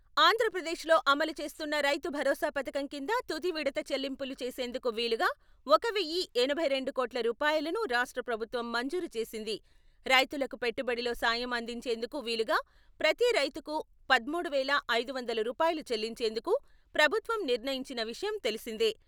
ఆంధ్రప్రదేశ్లో అమలు చేస్తున్న రైతు భరోసా పథకం కింద తుది విడవ చెల్లింపులు చేసేందుకు వీలుగా ఒక వెయ్యి ఎనభై రెండు కోట్ల రూపాయలను రాష్ట్ర ప్రభుత్వం మంజూరు చేసింది. రైతులకు పెట్టుబడిలో సాయం అందించేందుకు వీలుగా ప్రతి రైతుకు పద్మూడు వేల ఐదు వందల రూపాయలు చెల్లించేందుకు ప్రభుత్వం నిర్ణయించిన విషయం తెలిసిందే.